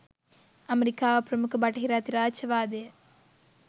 අමෙරිකාව ප්‍රමුඛ බටහිර අධිරාජ්‍යවාදය